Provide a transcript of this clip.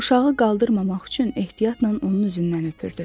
Uşağı qaldırmamaq üçün ehtiyatla onun üzündən öpdü.